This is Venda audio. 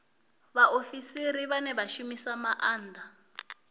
vhaofisiri vhane vha shumisa maanda